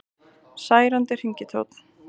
Særandi hringitónn